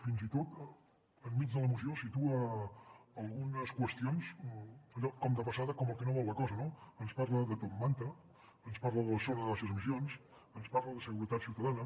fins i tot enmig de la moció situa algunes qüestions allò com de passada com el que no vol la cosa no ens parla de top manta ens parla de la zona de baixes emissions ens parla de seguretat ciutadana